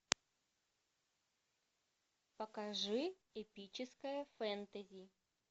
покажи эпическое фэнтези